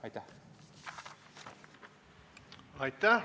Aitäh!